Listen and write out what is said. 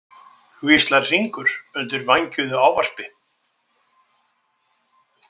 hvíslar Hringur undir vængjuðu ávarpi.